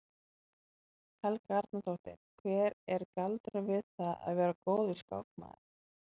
Helga Arnardóttir: Hver er galdurinn við það að vera góður skákmaður?